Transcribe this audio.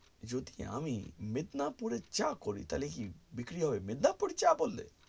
যদি আমি মেদিনীপুরের চা করি তালে কি বিক্রি হবে মেদিনীপুরের চা করলে